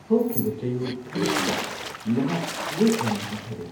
ꯍꯧꯈꯤꯕ ꯆꯌꯣꯜ ꯈꯔꯁꯤꯗ ꯅꯍꯥꯛ ꯋꯦꯠ ꯌꯥꯝꯅ ꯍꯟꯊꯔꯦ!